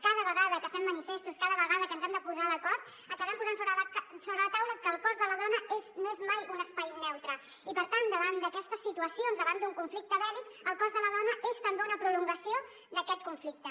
cada vegada que fem manifestos cada vegada que ens hem de posar d’acord acabem posant sobre la taula que el cos de la dona no és mai un espai neutre i per tant davant d’aquestes situacions davant d’un conflicte bèl·lic el cos de la dona és també una prolongació d’aquest conflicte